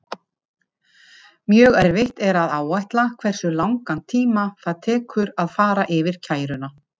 Mjög erfitt er að áætla hversu langan tíma það tekur að fara yfir kæruna.